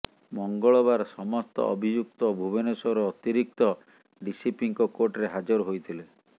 ମଙ୍ଗଳବାର ସମସ୍ତ ଅଭିଯୁକ୍ତ ଭୁବନେଶ୍ୱର ଅତିରିକ୍ତ ଡିସିପିଙ୍କ କୋର୍ଟରେ ହାଜର ହୋଇଥିଲେ